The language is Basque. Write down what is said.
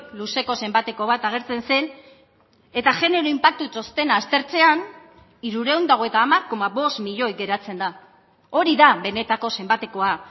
luzeko zenbateko bat agertzen zen eta genero inpaktu txostena aztertzean hirurehun eta hogeita hamar koma bost milioi geratzen da hori da benetako zenbatekoa